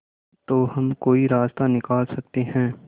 तो हम कोई रास्ता निकाल सकते है